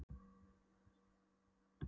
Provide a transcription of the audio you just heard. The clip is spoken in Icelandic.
Jú en bara þessa venjulegu upp að menntaskóla.